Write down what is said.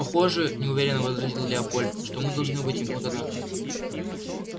похоже неуверенно возразил лепольд что мы должны быть им благодарны